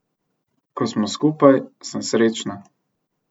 Ko smo skupaj, sem srečna.